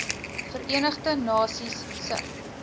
verenigde nasies se